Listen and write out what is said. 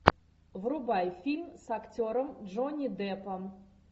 врубай фильм с актером джонни деппом